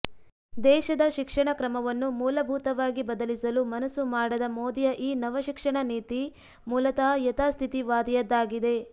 ದೇಶದ ಶಿಕ್ಷಣ ಕ್ರಮವನ್ನು ಮೂಲಭೂತವಾಗಿ ಬದಲಿಸಲು ಮನಸ್ಸು ಮಾಡದ ಮೋದಿಯ ಈ ನವ ಶಿಕ್ಷಣ ನೀತಿ ಮೂಲತಃ ಯಥಾಸ್ಥಿತಿವಾದಿಯದ್ದಾಗಿದೆ